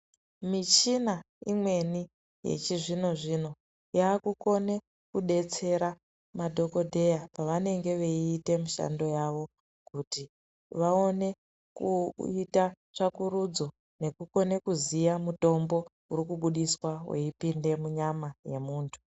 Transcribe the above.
Michina imweni yechizvino zvino yaakukone kudetsera madhokodheya pavanenge veiite mishando yavo kuti vaone kuita tsvakurudzo nekukone kuziya mutombo urikubudiswa weipinde munyama yemuntu.